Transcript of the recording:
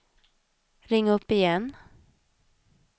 ring upp igen